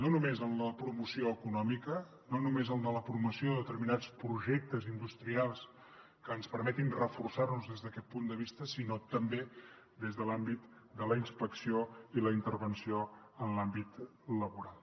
no només en la promoció econòmica no només en la promoció de determinats projectes industrials que ens permetin reforçar nos des d’aquest punt de vista sinó també des de l’àmbit de la inspecció i la intervenció en l’àmbit laboral